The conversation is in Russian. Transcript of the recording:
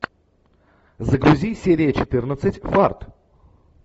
загрузи серия четырнадцать фарт